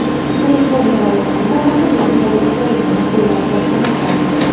Kaliforniya va Londonda mahalliy aholi Ukrainani qo‘llab-quvvatlamoqda.